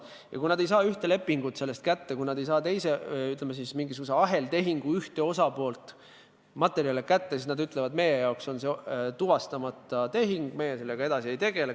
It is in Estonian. Ja kui nad ühte või teist lepingut, mingisuguse aheltehingu ühe osapoole teatavaid materjale kätte ei saa, siis nad ütlevad, et nende jaoks on see tuvastamata tehing, nemad sellega edasi ei tegele.